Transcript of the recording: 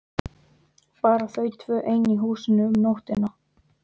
Bara þau tvö ein í húsinu um nóttina!